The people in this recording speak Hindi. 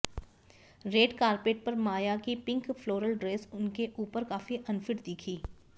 रेड कार्पेट पर माया की पिंक फ्लोरल ड्रेस उनके ऊपर काफी अनफिट दिखी